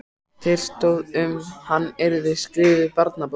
Til stóð að um hann yrði skrifuð barnabók.